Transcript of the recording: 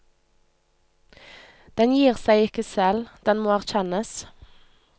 Den gir seg ikke selv, den må erkjennes.